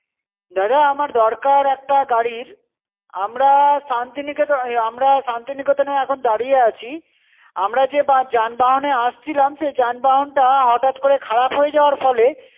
দাদা আমার দরকার একটা গাড়ির। আমরা শান্তিনিকেতন আমরা শান্তিনিকেতনে এখন দাঁড়িয়ে আছি। আমরা যে বা যানবহনে আসছিলাম, সে যানবাহনটা, হঠাৎ করে খারাপ হয়ে যাওয়ার ফলে